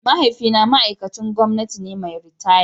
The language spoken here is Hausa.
Mahaifina ma'aikacin gwamnati ne mai ritaya.